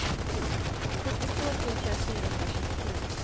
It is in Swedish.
sjuttiotvå tusen fyrahundratjugosju